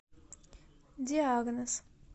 диагноз